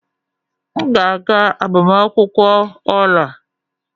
M ga-aga agbamakwụkwọ Ola.